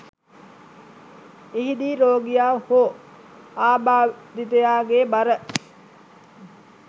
එහිදී රෝගියා හෝ ආබාධිතයා ගේ බර